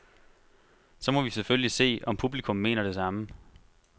Så må vi selvfølgelig se, om publikum mener det samme.